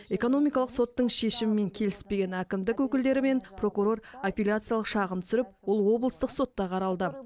экономикалық соттың шешімімен келіспеген әкімдік өкілдері мен прокурор аппеляциялық шағым түсіріп ол облыстық сотта қаралды